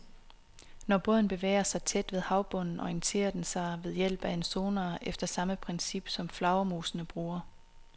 Når båden bevæger sig tæt ved havbunden, orienterer den sig ved hjælp af en sonar efter samme princip, som flagermusene bruger.